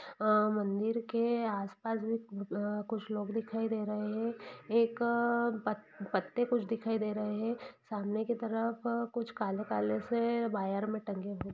अ-मंदिर के आस-पास भी अ-कुछ लोग दिखाई दे रहे है एक अ पत-पत्ते कुछ दिखाई दे रहे है सामने की तरफ कुछ काले-काले से वायर मे टंगे हुए--